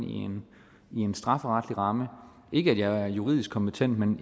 i en strafferetlig ramme ikke at jeg er juridisk kompetent men